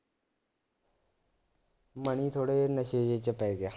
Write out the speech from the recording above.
money ਥੋੜ੍ਹੇ ਜਿਹੇ ਨਸ਼ੇ ਜਿਹੇ ਚ ਪੈ ਗਿਆ